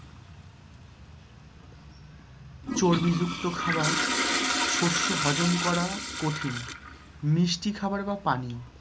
চর্বিযুক্ত খাবার। শস্য হজম করা কঠিন। মিষ্টি খাবার বা পানীয়।